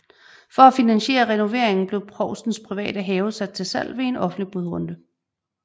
For at finansiere renoveringen blev provstens private have sat til salg ved en offentlig budrunde